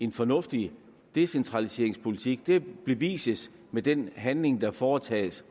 en fornuftig decentraliseringspolitik det bevises med den handling der foretages